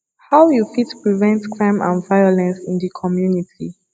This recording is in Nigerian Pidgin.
how you fit prevent crime and violence in di community